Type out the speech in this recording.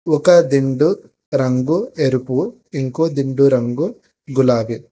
ఒక దిండు రంగు ఎరుపు ఇంకో దిండు రంగు గులాబి.